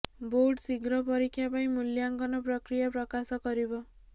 board ଶୀଘ୍ର ପରୀକ୍ଷା ପାଇଁ ମୂଲ୍ୟାଙ୍କନ ପ୍ରକ୍ରିୟା ପ୍ରକାଶ କରିବ